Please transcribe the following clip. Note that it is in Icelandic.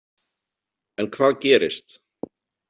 En hvað gerist?